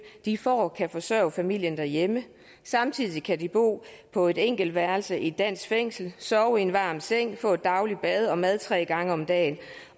de får kan forsørge familien derhjemme og samtidig kan de bo på et enkeltværelse i et dansk fængsel sove i en varm seng få et dagligt bad og mad tre gange om dagen